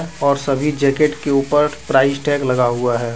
और सभी जैकेट के ऊपर प्राइस टैग लगा हुआ है।